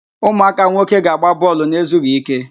Ụmụaka nwoke ga-agba bọọlụ na-ezughi ike.